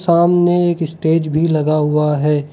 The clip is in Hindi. सामने एक स्टेज भी लगा हुआ है।